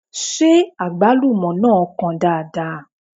Ṣé Àgbálúmọ náà kan dáadáa?